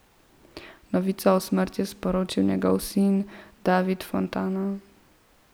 Novico o smrti je sporočil njegov sin David Fontana.